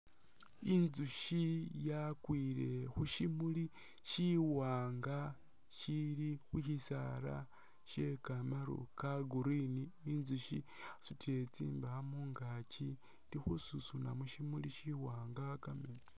Inzusyi yakwile khu syimuli syiwaanga syili mu syisaala sye kamaru ka Green, inzusyi yasutile tsindaa mungaaki ili khu susuna musimuli siwaanga kameetsi.